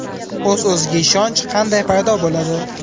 O‘z-o‘ziga ishonch qanday paydo bo‘ladi?.